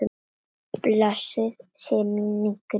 Blessuð sé minning Grétu tengdó.